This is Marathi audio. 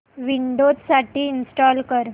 विंडोझ साठी इंस्टॉल कर